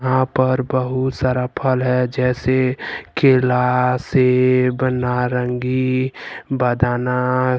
यहां पर बहुत सारा फल है जैसे केला सेव नारंगी बदाना।